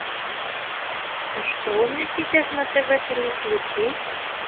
а что у нас сейчас на тв три включи